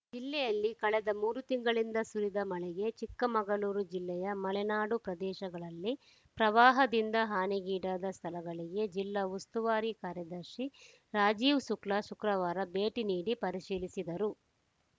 ಜಿಲ್ಲೆಯಲ್ಲಿ ಕಳೆದ ಮೂರು ತಿಂಗಳಿಂದ ಸುರಿದ ಮಳೆಗೆ ಚಿಕ್ಕಮಗಳೂರು ಜಿಲ್ಲೆಯ ಮಲೆನಾಡು ಪ್ರದೇಶಗಳಲ್ಲಿ ಪ್ರವಾಹದಿಂದ ಹಾನಿಗೀಡಾದ ಸ್ಥಳಗಳಿಗೆ ಜಿಲ್ಲಾ ಉಸ್ತುವಾರಿ ಕಾರ್ಯದರ್ಶಿ ರಾಜೀವ್‌ ಶುಕ್ಲಾ ಶುಕ್ರವಾರ ಭೇಟಿ ನೀಡಿ ಪರಿಶೀಲಿಸಿದರು